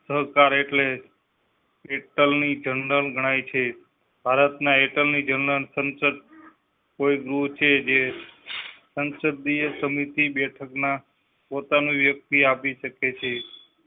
સરકાર એટલે attorney general ગણાય છે. ભારતના attorney general સંસદ કોઈ ગૃહ છે જે સંસદીય સમિતિ બેઠકના પોતા નું વ્યકતિ આપી શકે છે.